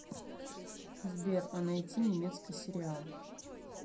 сбер а найти немецкий сериал